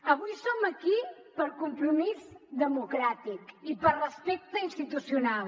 avui som aquí per compromís democràtic i per respecte institucional